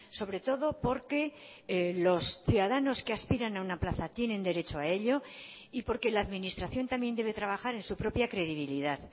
sobre todo porque los ciudadanos que aspiran a una plaza tienen derecho a ello y porque la administración también debe trabajar en su propia credibilidad